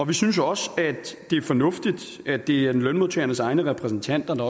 vi synes også det er fornuftigt at det er lønmodtagernes egne repræsentanter der